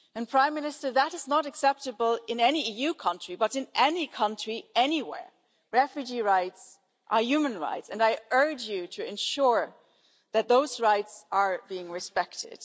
Prime Minister, that is not acceptable in any EU country, but in any country anywhere, refugee rights are human rights, and I urge you to ensure that those rights are being respected.